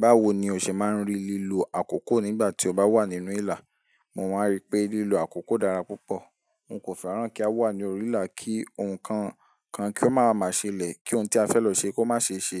Báwo ni o ṣe máa ń rí lílo àkókò nígbà tí o bá wà nínú ìlà? Mo máa rí pé lílo àkókò dára púpọ̀. N kò fẹ́ràn kí a wà ní orí ìlà kí ohun kan kan kí ó máa ma ṣẹlẹ̀, kí ohun tí a fẹ́ lọ ṣe kó má ṣe ṣe,